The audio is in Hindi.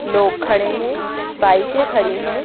लोग खड़े हैं बाइकें खड़ी हैं।